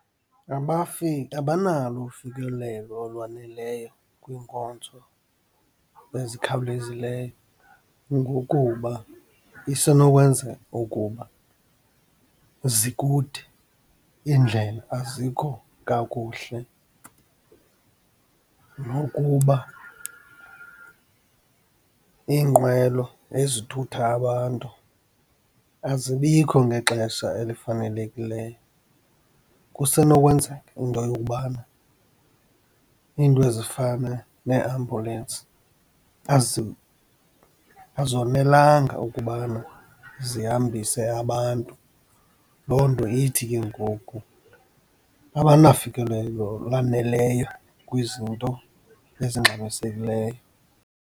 Abanalo ufikelelo olwaneleyo kwiinkonzo ezikhawulezileyo, ngokuba isenokwenzeka ukuba zikude, iindlela azikho kakuhle nokuba iinqwelo ezithutha abantu azibikho ngexesha elifanelekileyo. Kusenokwenzeka into yokubana iinto ezifana neeambulensi azonelanga ukubana zihambise abantu. Loo nto ithi kengoku abanafikelelo lwaneleyo kwizinto ezingxamisekileyo.